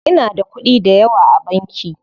Inada kuɗi dayawa a banki.